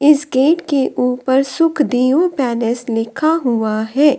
इस गेट के ऊपर सुखदेव पैलेस लिखा हुआ है।